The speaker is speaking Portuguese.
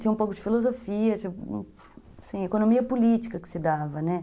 Tinha um pouco de filosofia, assim, economia política que se dava, né